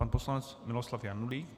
Pan poslanec Miloslav Janulík.